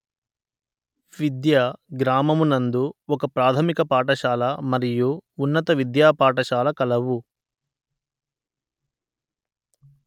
విద్య గ్రామము నందు ఒక ప్రాథమిక పాఠశాల మరియు ఉన్నత విద్యా పాఠశాల కలవు